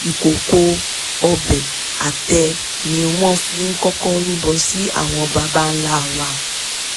ìkòkò ọbẹ̀ àtẹ́ ni wọ́n fi kọ́kọ́ rúbọ sí àwọn baba ńlá wa